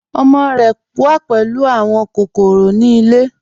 Ọmọ rẹ wà pẹ̀lú awọn kòkòrò ni ilẹ̀.